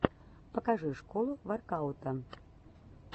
покажи школу воркаута